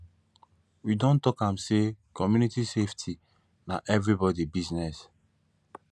we don talk am sey community safety na everybodi business